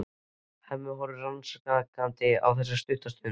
Hemmi horfir rannsakandi á þá stutta stund.